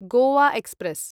Goa express